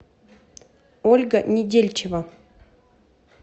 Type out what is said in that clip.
ольга недельчева